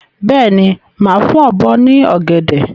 Bẹ́ẹ̀ni, máa fún ọ̀bọ ní ọ̀gẹ̀dẹ̀.